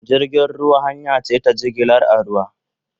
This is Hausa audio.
Jirgin ruwa hanya ce ta jigilar a ruwa